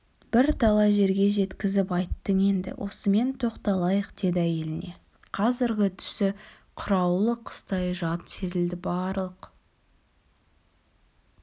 бірталай жерге жеткізіп айттың енді осымен тоқталайық деді әйеліне қазіргі түсі қыраулы қыстай жат сезілді барлық